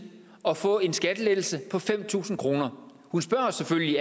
at få en skattelettelse på fem tusind kroner hun spørger os selvfølgelig